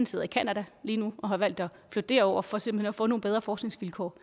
sidder i canada lige nu og har valgt at flytte derover for simpelt hen at få nogle bedre forskningsvilkår